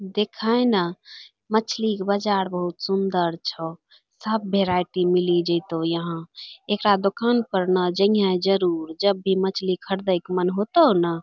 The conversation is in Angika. देखै ना मछली क बजार बहुत सुन्दर छौ सब भेरायटी मिली जैतौ यहां एकरा दोकान पर ना जैहे जरूर जब भी मछली खरदैक मन होतौ ना।